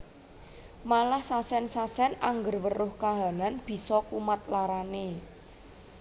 Malah sasen sasen angger weruh kahanan bisa kumat larane